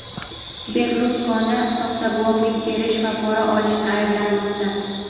Berluskoni soxta guvohlik berish va pora olishda ayblanmoqda.